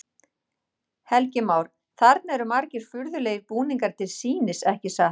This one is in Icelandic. Helgi Már: Þarna eru margir furðulegir búningar til sýnis, ekki satt?